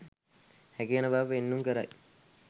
හැකිවන බව පෙන්නුම් කරයි.